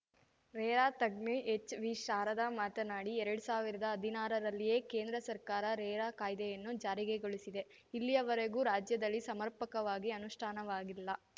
RERA ತಜ್ಞೆ ಎಚ್‌ವಿಶಾರದಾ ಮಾತನಾಡಿ ಎರಡ್ ಸಾವಿರ್ದಾ ಹದಿನಾರರಲ್ಲಿಯೇ ಕೇಂದ್ರ ಸರ್ಕಾರ ರೇರಾ ಕಾಯ್ದೆಯನ್ನು ಜಾರಿಗೆಗೊಳಿಸಿದೆ ಇಲ್ಲಿಯವರೆಗೂ ರಾಜ್ಯದಲ್ಲಿ ಸಮರ್ಪಕವಾಗಿ ಅನುಷ್ಠಾನವಾಗಿಲ್ಲ